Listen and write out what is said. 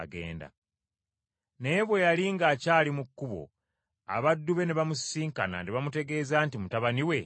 Naye bwe yali ng’akyali mu kkubo abaddu be ne bamusisinkana ne bamutegeeza nti mutabani we awonye.